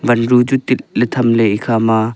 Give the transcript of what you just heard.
wanru chu tit ley tham ley ekha ma.